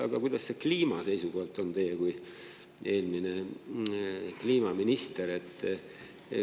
Aga kuidas see kliima seisukohalt on, teie kui eelmine kliimaminister?